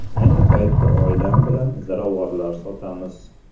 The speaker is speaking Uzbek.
Ayni paytda oilam bilan ziravorlar sotamiz.